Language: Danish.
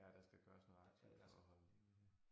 Ja der skal gøres noget aktivt for at holde liv i det